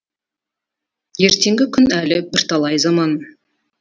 ертеңгі күн әлі бірталай заман